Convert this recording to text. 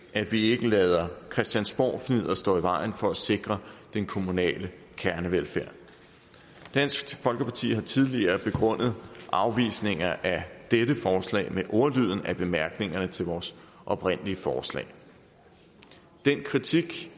at vi ikke lader christiansborgfnidder stå i vejen for at sikre den kommunale kernevelfærd dansk folkeparti har tidligere begrundet afvisninger af dette forslag med ordlyden af bemærkningerne til vores oprindelige forslag den kritik